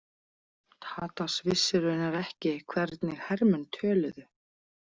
Tadas vissi raunar ekki hvernig hermenn töluðu.